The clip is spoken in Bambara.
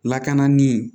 Lakana ni